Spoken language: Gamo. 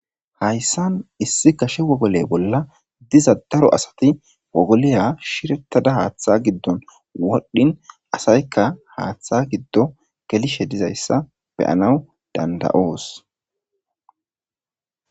Haysan issi gashe wogoy bolla diza daro asat , wogoliya shiretada Hatha gidon wodhin asayka Hatha gido gelishe dizaysa beyana danda'os.